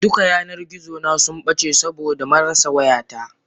Duka yanar gizona subbace saboda marasa wayata.